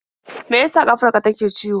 Me ya sa ƙafar ka take ciwo?